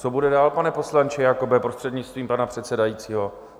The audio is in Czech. Co bude dál, pane poslanče Jakobe, prostřednictvím pana předsedajícího?